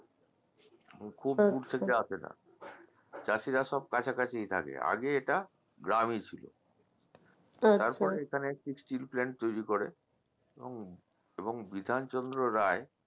খুব দূর থেকে আসেনা চাষিরা সব কাছাকাছিই থাকে আগে এটা গ্রামই ছিল তারপরে এখানে একটি steel plant তৈরি করে এবং বিধান চন্দ্র রায়